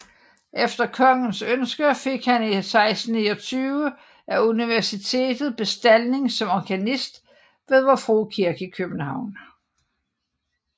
Efter kongens ønske fik han 1629 af Universitetet bestalling som organist ved Vor Frue Kirke i København